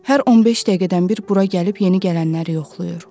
Hər 15 dəqiqədən bir bura gəlib yeni gələnləri yoxlayır.